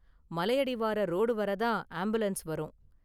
மலையடிவார road வரை தான் ambulance வரும்.